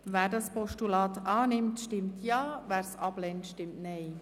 Wer dieses Postulat annimmt, stimmt Ja, wer es ablehnt, stimmt Nein.